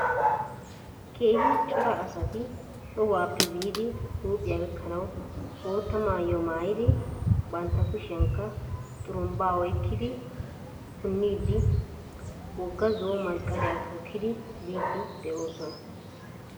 Keehi cora asati tohuwaappe biidi huuphiua gakkanawu bootta maayuwa maayidi bantta kushiyankka xurumbaa oyikkidi punniiddi wogga zo'o masqaliya tookkidi biiddi doosona.